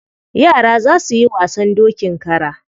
Yara za su yi wasan dokin kara.